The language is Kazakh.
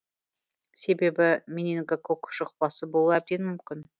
себебі менингококк жұқпасы болуы әбден мүмкін